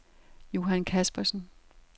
Johan Kaspersen